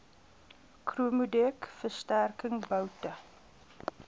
chromodek versterking boute